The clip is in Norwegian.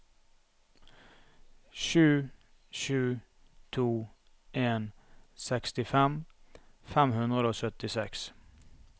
sju sju to en sekstifem fem hundre og syttiseks